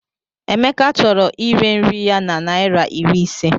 Emeka chọrọ ire nri ya na naira iri ise.